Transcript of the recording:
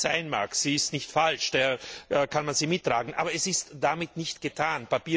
So richtig sie sein mag sie ist nicht falsch, daher kann man sie mittragen aber es ist damit nicht getan.